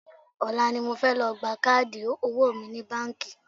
Ọ̀la ni mo fẹ́ lọ gba káàdì owó mi ní báńkì